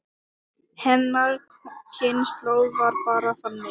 Hennar kynslóð var bara þannig.